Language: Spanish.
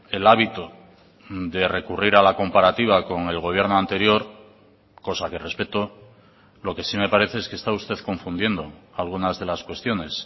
el hábito de recurrir a la comparativa con el gobierno anterior cosa que respeto lo que sí me parece es que está usted confundiendo algunas de las cuestiones